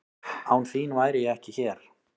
Án þín væri ég ekki hér.